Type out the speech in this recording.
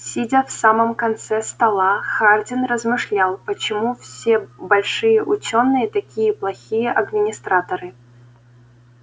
сидя в самом конце стола хардин размышлял почему все большие учёные такие плохие администраторы